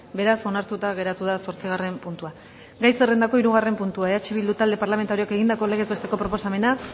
beraz onartuta geratu da zortzigarren puntua gai zerrendako hirugarren puntua eh bildu talde parlamentarioak egindako legez besteko proposamena